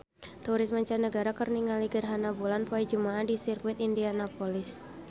Turis mancanagara keur ningali gerhana bulan poe Jumaah di Sirkuit Indianapolis